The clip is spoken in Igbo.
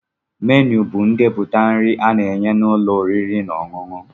Ménu bụ ndepụta nri a na-enye n'ụlọ oriri na ọṅụṅụ